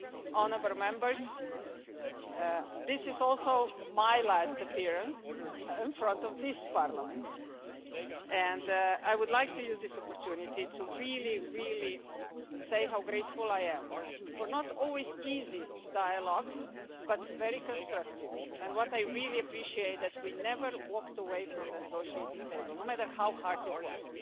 Honourable Members, this is also my last appearance in front of this Parliament and I would like to take this opportunity to really say how grateful I am for the not always easy, but very constructive, dialogues. What I really appreciate is that we never walked away from the negotiating table no matter how hard it was.